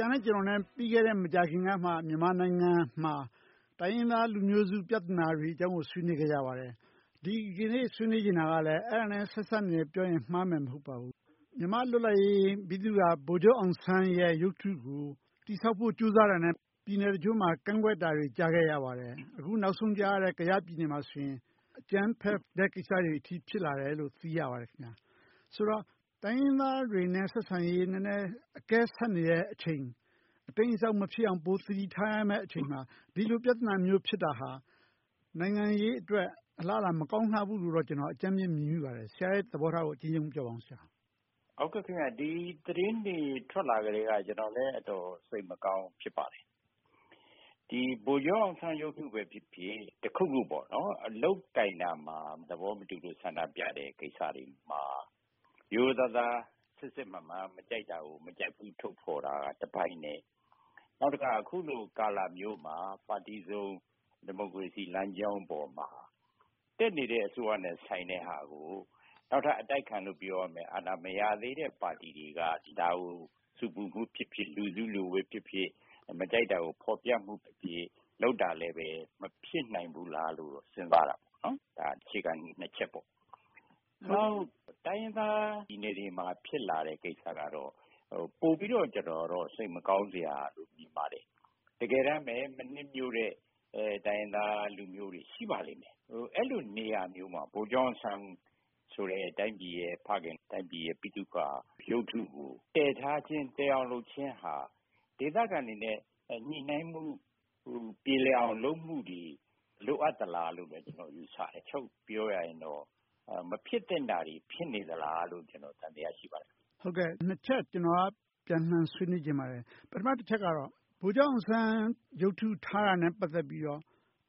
ရာနဲ့ကျနော် မကြာသေးခင်ကမှ မြန်မာနိုင်ငံမှာ တိုင်းရင်းသားလူမျိုးစု ပြဿနာတွေအကြောင်းကို ဆွေးနွေးခဲ့ကြပါတယ်။ ဒီကနေ့ ဆွေးနွေးချင်တဲ့အကြောင်းအရာကလည်း အဲဒါနဲ့ ဆက်စပ်နေတယ်လို့ပြောရင် မှားမယ်မဟုတ်ပါဘူး။ မြန်မာ့လွတ်လပ်ရေးဗိသုကာ ဗိုလ်ချုပ်အောင်ဆန်းရဲ့ရုပ်ထုကို တည်ဆောက်ဖို့ ကြိုးစားတာနဲ့ ပြည်နယ်တချို့မှာ ကန့်ကွက်တာတွေ ကြားခဲ့ရပါတယ်။ အခုနောက်ဆုံးကြားရတဲ့ ကယားပြည်နယ်မှာဆိုရင် အကြမ်းဖက်တဲ့အထိ ဖြစ်လာတယ်လို့ ကြားသိရပါတယ်။ ဆိုတော့ တိုင်းရင်းသားတွေနဲ့ ဆက်ဆံရေး အကဲဆတ်နေတဲ့အချိန် အတိမ်းအစောင်း မဖြစ်အောင် ပိုသတိထားရမယ့်အချိန်မှာ ဒီလိုပြဿနာမျိုး ဖြစ်တာဟာ နိုင်ငံရေးအတွက် အလားအလာ မကောင်းလှဘူးလို့ ကျနော် အကြမ်းမျဉ်း မြင်မိပါတယ်။ ဆရာရဲ့ သဘောထားကို အကျဉ်းရုံးပြောပါ။ ဒီသတင်းတွေထွက်လာကတည်းက ကျနော်လည်း အတော်စိတ်မကောင်း ဖြစ်ပါတယ်။ ဗိုလ်ချုပ်အောင်ဆန်းရုပ်ထုပဲဖြစ်ဖြစ်၊ တခုခု လုပ်ကိုင်ရာမှာ သဘောမတူလို့ ဆန္ဒပြတဲ့ကိစ္စတွေမှာ ရိုးရိုးသားသား စစ်စစ်မှန်မှန် မကြိုက်တာကို မကြိုက်ဘူးလို့ ထုတ်ဖော်တာတပိုင်းနဲ့ နောက်တခါ အခုလိုကာလမျိုးမှာ ပါတီစုံဒီမိုကရေစီလမ်းကြောင်းပေါ်မှာ တက်နေတဲ့ အစိုးရနဲ့ဆိုင်တဲ့ဟာကို နောက်ထပ်အတိုက်ခံလို့ ပြောရမယ့် အာဏာမရသေးတဲ့ပါတီတွေက ဒါကို ဆူပူမှုဖြစ်ဖြစ်၊ လူစုလူဝေးနဲ့ဖြစ်ဖြစ် မကြိုက်တာကို ဖော်ပြမှုတွေနဲ့ လုပ်တာလဲ မဖြစ်နိုင်ဘူးလားလို့ စဉ်းစားမိတယ်။ ဒါက အခြေခံကြီးနှစ်ချက်ပေါ့။ တိုင်းရင်းသားပြည်နယ်တွေမှာ ဖြစ်လာတဲ့ကိစ္စကတော့ ပိုပြီးတော့ စိတ်မကောင်းစရာလို့ မြင်ပါတယ်။ တကယ်တမ်းပဲ မနှစ်မြိုတဲ့ တိုင်းရင်းသားလူမျိုးတွေ ရှိပါလိမ့်မယ်။ အဲဒီလိုနေရာမျိုးမှာ ဗိုလ်ချုပ်အောင်ဆန်းလို တိုင်းပြည်ရဲ့ဖခင်၊ တိုင်းပြည်ရဲ့ ဗိသုကာရုပ်ထုကို တည်ထားခြင်း၊ တည်အောင်လုပ်ခြင်းဟာ ဒေသခံတွေနဲ့ ညှိနှိုင်းမှု၊ ပြေလည်အောင်လုပ်မှုတွေ လိုအပ်သလားလို့ ကျနော်ယူဆတယ်။ ချုပ်ပြောရရင်တော့ မဖြစ်သင့်တာတွေ ဖြစ်နေသလားလို့ ကျနော် သံသယ ရှိနေပါတယ်။ နှစ်ချက် ကျနော်က ပြန်လှန်ဆွေးနွေးလိုပါတယ်။ ပထမတချက်ကတော့ ဗိုလ်ချုပ်အောင်ဆန်း ရုပ်ထုထားတာနဲ့ ပတ်သက်ပြီးတော့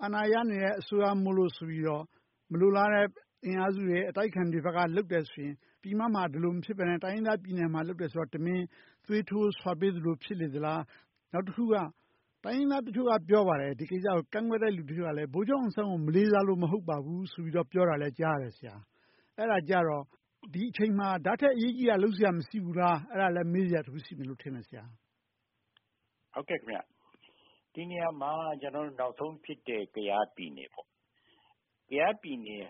အာဏာရနေတဲ့ အစိုးရမို့လို့ဆိုပြီးတော့ မလိုလားတဲ့ အင်အားစုတွေ၊ အတိုက်အခံတွေဘက်က လုပ်တယ်ဆိုရင်၊ ပြည်မမှာ ဒီလိုမဖြစ်ဘဲနဲ့ တိုင်းရင်းသားပြည်နယ်မှာ လုပ်တယ်ဆိုတော့ တမင်သွေးထိုးဆွပေးသလို ဖြစ်နေသလား။ နောက်တခုက တိုင်းရင်းသားတချို့က ပြောပါတယ် ဒီကိစ္စကို ကန့်ကွက်တဲ့လူတချို့က ဗိုလ်ချုပ်အောင်ဆန်းကို မလေးစားလို့ မဟုတ်ပါဘူးလို့ ပြောတာကိုလည်း ကြားရပါတယ်။ အဲဒါကြတော့ ဒီအချိန်မှာ ဒါထက်အရေးကြီးတာ လုပ်စရာ မရှိဘူးလား။ အဲဒါလဲ မေးစရာတခု ရှိတယ်လို့ထင်တယ်။ ဒီနေရာမှာ နောက်ဆုံးဖြစ်တဲ့ ကယားပြည်နယ်ကိုကြည့်ရင် ကယားပြည်နယ်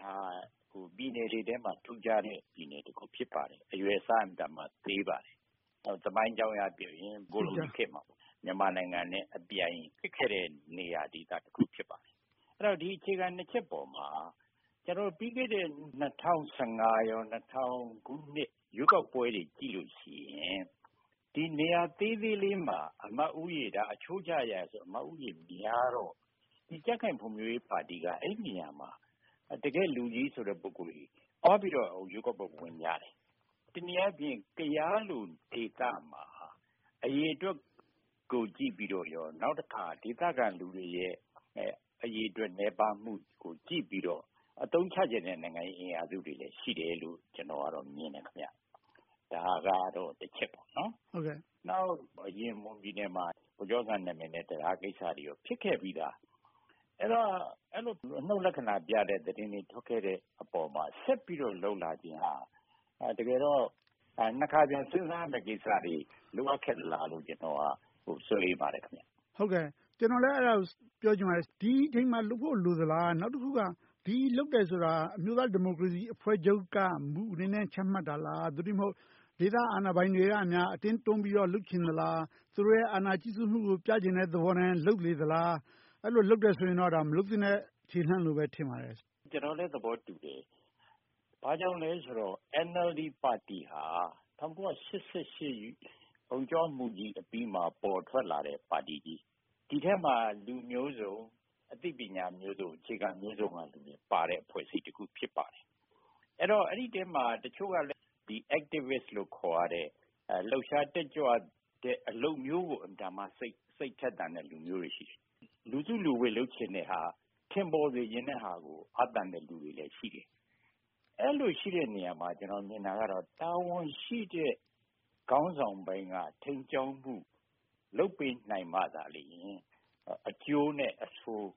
က ပြည်နယ်တွေထဲမှာ ထူးခြားတဲ့ ပြည်နယ်တခု ဖြစ်ပါတယ်။ အရွယ်အစား အင်မတန်မှ သေးပါတယ်။ သမိုင်းအကြောင်းအရပြောရင် ကိုလိုနီခေတ်မှာ မြန်မာနိုင်ငံနဲ့အပြိုင် ဖြစ်ခဲ့တဲ့နေရာဒေသတခု ဖြစ်ပါတယ်။ ဒီအခြေခံနှစ်ချက်ပေါ်မှာ ပြီးခဲ့တဲ့ ၂၀၁၅ နဲ့ ၂၀၀၀ ခုနှစ် ရွေးကောက်ပွဲတွေကိုကြည့်ရင် ဒီနေရာသေးသေးလေးမှာ အချိုးကျရဆိုရင် အမတ်ဦးရေများတော့ ကြံ့ခိုင်ဖွံ့ဖြိုးရေးပါတီက အဲဒီနေရာမှာ တကယ့်လူကြီးဆိုတဲ့ ပုဂ္ဂိုလ်တွေ သွားပြီးတော့ ရွေးကောက်ပွဲဝင်ကြတယ်။ တနည်းအားဖြင့် ကယားလို့ဒေသမှာ အရေအတွက်ကိုကြည့်ပြီးတော့ကော၊ နောက်တခါ ဒေသခံလူတွေရဲ့ အရေအတွက်နည်းပါးမှုကို ကြည့်ပြီးတော့ အသုံးချချင်တဲ့နိုင်ငံရေးအင်အားစုတွေလည်း ရှိတယ်လို့ ကျနော်က မြင်တယ်။ ဒါကတော့ တချက်ပေါ့။ နောက်တခါ မွန်ပြည်နယ်မှာ ဗိုလ်ချုပ်အောင်ဆန်းနာမည်နဲ့ တံတားကိစ္စတွေ ဖြစ်ခဲ့ပြီသား။ အဲဒီလို အနုတ်လက္ခဏာပြတဲ့ သတင်းတွေ ထွက်ခဲ့တဲ့အပေါ်မှာ ဆက်ပြီးတော့ လုပ်လာခြင်းဟာ တကယ်တော့ နှစ်ခါပြန်စဉ်းစားရမယ့်ကိစ္စတွေ လိုအပ်သလားလို့ ကျနော်ကတော့ စိုးရိမ်ပါတယ်။ ကျနော်လည်း အဲဒါကို ပြောချင်ပါတယ်။ ဒီအချိန်မှာလုပ်ဖို့ လိုသလား။ နောက်တခုက ဒီလိုလုပ်တယ်ဆိုတာ အမျိုးသားဒီမိုကရေစီအဖွဲ့ချုပ်က မူအနေနဲ့ ချမှတ်တာလား။ သို့တည်းမဟုတ် ဒေသအာဏာပိုင်တွေက အတင်းတွန်းပြီးတော့ လုပ်ချင်တာလား။ သူတို့ရဲ့ အာဏာကြီးစိုးမှုကို ပြချင်တဲ့သဘောနဲ့ လုပ်နေသလား။ အဲဒီလိုတွေလုပ်နေတယ်ဆိုရင်တော့ မလုပ်သင့်တဲ့ ခြေလှမ်းလို့ပဲ ထင်ပါတယ်။ ကျနော်လည်း သဘောတူတယ်။ ဘာကြောင့်လဲဆိုတော့ NLD ပါတီဟာ ၁၉၈၈ အုံ့ကြွမှုကြီးအပြီးမှာ ပေါ်ထွက်လာတဲ့ပါတီကြီး။ ဒီထဲမှာ လူမျိုးစုံ၊ အသိပညာမျိုးစုံ၊ အခြေခံမျိုးစုံကလူတွေပါတဲ့ အဖွဲ့အစည်းတခု ဖြစ်ပါတယ်။ အဲဒီအထဲမှာ တချို့ကလည်း Activist လို့ခေါ်ရတဲ့ လှုပ်ရှားတက်ကြွတဲ့ အလုပ်မျိုးကို အင်မတန်မှ စိတ်ထက်သန်တဲ့လူမျိုးတွေ ရှိတယ်။ လူစုလူဝေး လုပ်ချင်တဲ့ဟာ၊ ထင်ပေါ်ချင်တဲ့ဟာကို အားသန်တဲ့လူတွေလည်း ရှိတယ်။ အဲဒီလိုရှိတဲ့နေရာမှာ ကျနော်ထင်တာကတော့ တာဝန်ရှိတဲ့ခေါင်းဆောင်ပိုင်းက ထိန်းကြောင်းမှု လုပ်ပေးနိုင်မှသာလျှင် အကျိုးနဲ့အဆိုး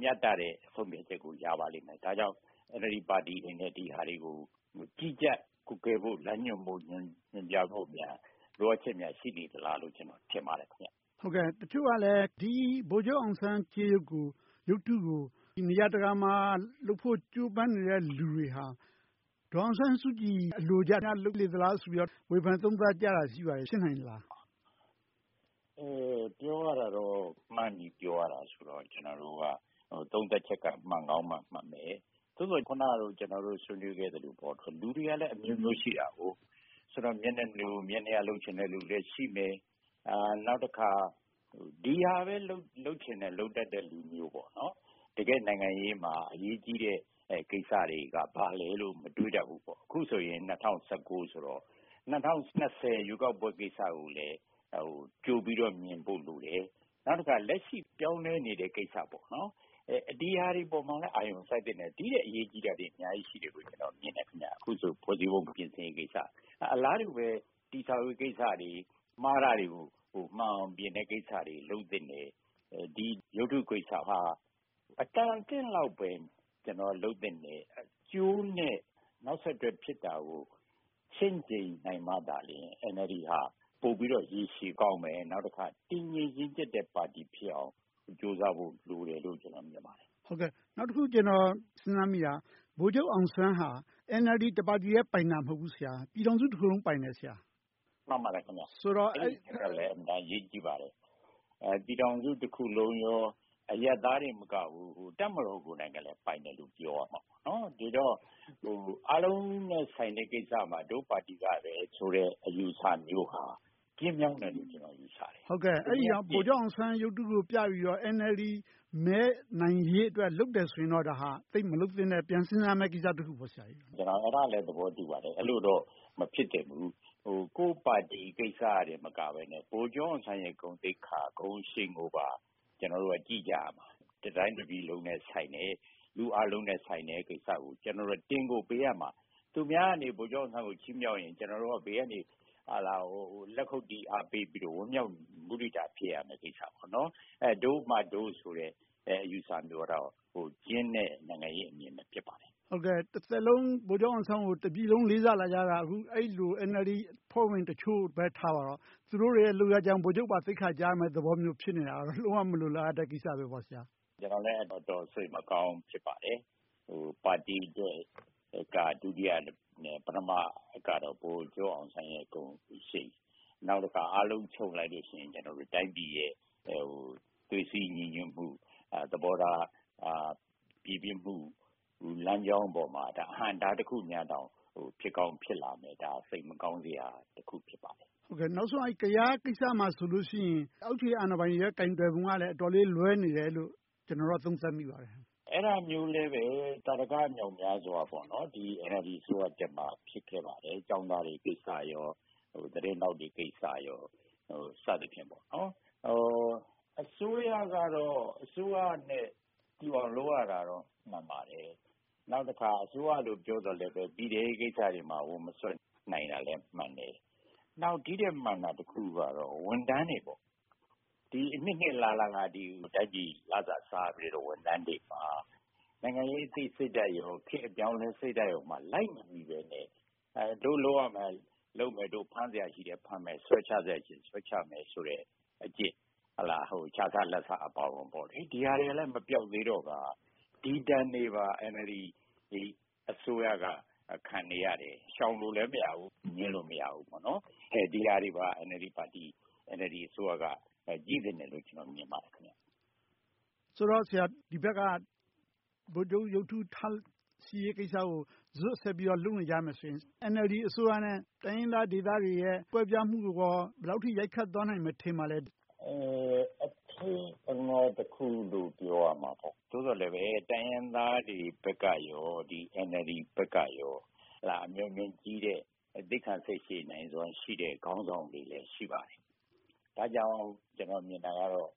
မျှတတဲ့ ဆုံးဖြတ်ချက်ကို ရပါလိမ့်မယ်။ ဒါကြောင့် NLD ပါတီအနေနဲ့ ဒီဟာတွေကို ကြီးကြပ်ကွပ်ကဲ၊ လမ်းညွှန်မှုတွေများ လိုအပ်ချက် ရှိနေသလားလို့ ကျနော် ထင်ပါတယ်။ တချို့ကလည်း ဗိုလ်ချုပ်အောင်ဆန်းကြေးရုပ်ကို၊ ရုပ်ထုတွေကို နေရာတကာမှာလုပ်ဖို့ ကြိုးပမ်းနေတဲ့ လူတွေဟာ ဒေါ်အောင်ဆန်းစုကြည် အလိုကျများ လုပ်နေသလားလို့ ဝေဖန်သုံးသပ်ကြတာ ရှိနေပါတယ်။ ဖြစ်နိုင်ပါသလား။ ပြောရတာတော့ မှန်းပြီးပြောရတာဆိုတော့ သုံးသပ်ချက်က မှန်ကောင်းမှမှန်မယ်။ အခုနက ဆွေးနွေးပြောခဲ့သလို လူတွေကလည်းအမျိုးမျိုးရှိတယ် - မျက်နှာလိုမျက်နှာရ လုပ်ချင်တဲ့လူတွေလည်း ရှိမယ်။ နောက်တခါ ဒီဟာပဲ လုပ်ချင်လုပ်တတ်တဲ့ လူမျိုး။ တကယ့်နိုင်ငံရေးမှာ အရေးကြီးတဲ့ကိစ္စတွေက ဘာလဲလို့ မတွေးတတ်ဘူး။ အခုဆိုရင် ၂၀၁၉ ဆိုတော့ ၂၀၂၀ ရွေးကောက်ပွဲကိစ္စကိုလည်း ကြိုပြီးတော့မြင်ဖို့လိုတယ်။ နောက်တခါ လက်ရှိပြောင်းလဲနေတဲ့ကိစ္စ - ဒီဟာတွေပေါ်မှာလည်း အာရုံစိုက်သင့်တယ်။ ဒီထက်အရေးကြီးတာတွေ အများကြီးရှိတယ်လို့ ကျနော်မြင်တယ်။ ဖွဲ့စည်းပုံပြင်ဆင်ရေးကိစ္စ။ အလားတူပဲ တည်ဆောက်ရေးကိစ္စတွေ၊ မှားတာတွေကို မှန်အောင်ပြင်တဲ့ကိစ္စတွေ လုပ်သင့်တယ်။ ဒီရုပ်ထုကိစ္စက အတော်အသင့်လောက်ပဲ လုပ်သင့်တယ်။ အကျိုးနဲ့ နောက်ဆက်တွဲဖြစ်တာကို ချင့်ချိန်းနိုင်မှသာ NLD က ပိုပြီးတော့ရေရှည်မှာကောင်းမယ်။ နေုာက်တခါ တည်ငြိမ်ရင့်ကျက်တဲ့ပါတီဖြစ်အောင် ကြိုးစားဖို့လိုတယ်လို့ ကျနော်မြင်ပါတယ်။ နောက်တခု ကျနော် စဉ်းစားမိတာက ဗိုလ်ချုပ်အောင်ဆန်းက NLD တပါတီထဲပိုင်တာ မဟုတ်ဘူး ဆရာ။ ပြည်ထောင်စုတခုလုံး ပိုင်တယ်။ မှန်ပါတယ်။ အဲဒါလည်း အရေးကြီးပါတယ်။ ပြည်ထောင်စုတခုလုံးနဲ့ အရပ်သားတင်မကဘူး၊ တပ်မတော်ကိုယ်တိုင်လည်း ပိုင်တယ်လို့ ပြောလို့ရတယ်။ ဒီတော့ အားလုံးနဲ့ဆိုင်တဲ့ကိစ္စမှာ ငါတို့ပါတီကပဲဆိုတဲ့ အယူအဆမျိုးဟာ ကျဉ်းမြောင်းတယ်လို့ ကျနော် ယူဆတယ်။ အဲဒါကြောင့် ဗိုလ်ချုပ်အောင်ဆန်းရုပ်ထုကိုပြပြီးတော့ NLD မဲနိုင်ရေးအတွက် လုပ်တယ်ဆိုရင်တော့ သိပ်မလုပ်သင့်တဲ့ကိစ္စ - ပြန်စဉ်းစားရမယ့်ကိစ္စ ဖြစ်တယ်။ ဒါကိုလည်း ကျနော် သဘောတူပါတယ်။ အဲဒီလိုတော့ မဖြစ်သင့်ဘူး။ ကိုယ့်ပါတီကိစ္စတင် မဟုတ်ဘဲ၊ ဗိုလ်ချုပ်အောင်ဆန်းရဲ့ ဂုဏ်သိက္ခာ၊ ဂုဏ်အရှိန်ကို ကျနော်တို့က ကြည့်ကြရမှာ။ တတိုင်းတပြည်လုံးနဲ့ဆိုင်တယ်။ လူအားလုံးနဲ့ဆိုင်တဲ့ကိစ္စကို ကျနော်တို့က တင်ကိုပေးရမှာ။ သူများက ဗိုလ်ချုပ်အောင်ဆန်းကို ချီးမြှောက်ရင် ကျနော်တို့က ဘေးကနေ လက်ခုပ်တီး၊ အားပေးပြီး၊ ဝမ်းမြောက်မုဒိတာ ဖြစ်ရမှာ။ ဒို့မှဒို့ဆိုတဲ့ အယူအဆမျိုးကတော့ ကျဉ်းတဲ့ နိုင်ငံရေးအမြင်ပဲ ဖြစ်ပါတယ်။ တသက်လုံး ဗိုလ်ချုပ်အောင်ဆန်းကို တပြည်လုံး လေးစားလာခဲ့ကြတာ အဲဒီလို NLD အဖွဲ့ဝင်တချို့ပဲ ထားပါတော့ သူတို့တွေရဲ့ လုပ်ရပ်ကြောင့် ဗိုလ်ချုပ်အောင်ဆန်းပါ သိက္ခာကျရမယ့်သဘော ဖြစ်နေတာက လုံးဝမလိုလားအပ်တဲ့ ကိစ္စတွေပေါ့။ ကျနော်လည်း တော်တော်လေး စိတ်မကောင်း ဖြစ်မိပါတယ်။ ပါတီက ဒုတိယနဲ့ ပထမကတော့ ဗိုလ်ချုပ်အောင်ဆန်းရဲ့ ဂုဏ်ရှိန်။ နောက်တခါ အားလုံးချုပ်လိုက်လို့ရှိရင် တိုင်းပြည်ရင် သွေးစည်းညီညွှတ်မှု၊ သဘောထားပြေပြစ်မှု လမ်းကြောင်းပေါ်မှာ အဟန့်အတားတခု ဖြစ်ကောင်းဖြစ်လာမယ်ဆိုတော့ စိတ်မကောင်းစရာတခု ဖြစ်ပါတယ်။ နောက်ဆုံး ကယားကိစ္စမှာဆိုရင် အောက်ခြေအာဏာပိုင်တွေရဲ့ ကိုင်တွယ်ပုံကလည်း အတော်လေးလွှဲနေတယ်လို့ ကျနော်က သုံးသပ်မိပါတယ်။ အဲဒါမျိုးလည်း သာဓကမြောက်မြားစွာ NLD အစိုးရတက်မှ ဖြစ်ခဲ့ပါတယ်။ ကျောင်းသားတွေကိစ္စ၊ သတင်းထောက်တွေကိစ္စ စသည်ဖြင့်ပေါ့။ အစိုးရကတော့ အစိုးရနဲ့တူအောင် လုပ်ရတာတွေရှိတာ မှန်ပါတယ်။ နောက်တခါ အစိုးရလို့ ပြောပေမယ့်လဲ ပြည်ထဲရေးကိစ္စတွေမှာ ဝင်မစွက်ဖက်နိုင်သေးတာလဲ မှန်တယ်။ နောက် ဒီထက်မှန်တာတခုကတော့ ဝန်ထမ်းတွေ။ အနှစ်နှစ်အလလ တိုင်းပြည်လစာစားခဲ့တဲ့ ဝန်ထမ်းတွေမှာ နိုင်ငံရေးအပြောင်းအလဲ အသိစိတ်ဓါတ်၊ ခေတ်အပြောင်းအလဲစိတ်ဓါတ်မှာ လိုက်မမီဘဲနဲ့ ဒို့လုပ်စရာရှိတာလုပ်မယ်။ ဒို့ဖမ်းစရာရှိတာ ဖမ်းမယ်။ ဆွဲချစရာရှိ ဆွဲချမယ်ဆိုတဲ့အကျင့်။ ခြစားလာဘ်စားအပါအဝင်တွေက မပျောက်သေးတော့ ဒီဒဏ်တွေပါ NLD အစိုးရက ခံနေရတယ်။ ရှောင်လို့လဲ မရဘူး။ ငြင်းလို့လည်း မရဘူး။ ဒီဟာတွေပါ NLD အစိုးရက ကြည့်သင့်တယ်လို့ ကျနော် မြင်ပါတယ်။ ဆိုတော့ ဒီဘက်က ဗိုလ်ချုပ်ရုပ်ထုထားရှိရေးကိစ္စကို ဇွတ်ဆက်ပြီးတော့ လုပ်နေကြမယ်ဆိုရင် NLD အစိုးရနဲ့ တိုင်းရင်းသားဒေသတွေရဲ့ ကွဲပြားမှုကိုရော ဘယ်လောက်အထိ ရိုက်ခတ်သွားမယ် ထင်ပါသလဲ။ အချိန်အခါတခုလို့ ပြောရမှာပေါ့။ သို့သော်လဲပဲ တိုင်းရင်းသားတွေဘက်ကရော၊ NLD ဘက်ကရော အမျှော်အမြင်ကြီးတဲ့၊ သီးခံစိတ်ရှည်နိုင်စွမ်းရှိတဲ့ ခေါင်းဆောင်တွေလည်း ရှိပါတယ်။ ဒါကြောင့် ကျနော် မြင်တာကတော့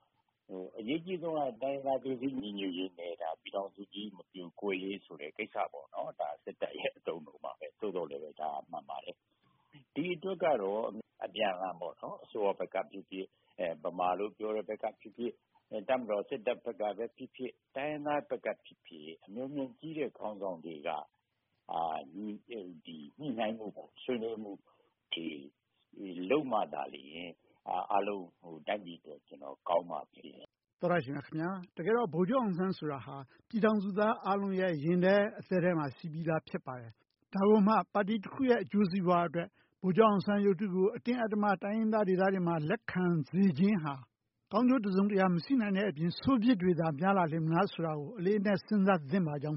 အရေးကြီးဆုံးက တိုင်းရင်းသားသွေးစည်းညီညွှတ်ရေးပါ။ ပြည်ထောင်စုကြီး မပြိုကွဲရေးဆိုတဲ့ ကိစ္စပေါ့။ ဒါ စစ်တပ်ရဲ့ အသုံးအနှုန်းပါ။ သို့သော်လဲ ဒါတွေက မှန်ပါတယ်။ ဒီအတွက်ကတော့ အပြန်အလှန် အစိုးရဘက်ကဖြစ်ဖြစ်၊ ဗမာလို့ပြောတဲ့ဘက်ကဖြစ်ဖြစ်၊ တပ်မတော် စစ်တပ်ဘက်ကဖြစ်ဖြစ်၊ တိုင်းရင်းသားဘက်ကဖြစ်ဖြစ် အမျှော်အမြင်ကြီးတဲ့ ခေါင်းဆောင်တွေက ညှိနှိုင်းဆွေးနွေးမှုတွေ လုပ်မှသာလျှင် အားလုံးတိုင်းပြည်အတွက် ကောင်းလာမှာပါ။ သောတရှင်များခင်များ… တကယ်တော့ ဗိုလ်ချုပ်အောင်ဆန်းဆိုတာ ပြည်ထောင်စုသားအားလုံးရဲ့ ရင်ထဲအသည်းထဲမှာ ရှိပြီသား ဖြစ်ပါတယ်။ ဒါကိုမှ ပါတီတခုရဲ့ အကျိုးစီးပွားအတွက် ဗိုလ်ချုပ်အောင်ဆန်းရုပ်ထုကို အတင်းအဓမ္မ တိုင်းရင်းသားဒေသတွေမှာ လက်ခံစေချင်ဟာ ကောင်းကျိုးတစုံတရာ မရှိနိုင်တဲ့အပြင်၊ ဆိုးပြစ်တွေသာ များလာလေမလားဆိုတာကို အလေးအနက် စဉ်းစားသင့်ပါကြောင်း